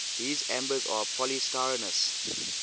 these ambers are polystyrenes